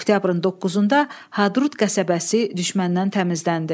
Oktyabrın 9-da Hadrut qəsəbəsi düşməndən təmizləndi.